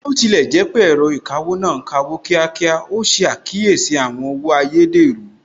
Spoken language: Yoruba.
Bí ó tilẹ̀ jẹ́ pé ẹ̀rọ ìkawó náà ń kawó ní kíákíá, ó ṣe àkíyèsí àwọn owó èèrú/ ayédèrú